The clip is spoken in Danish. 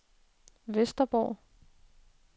Vesterborg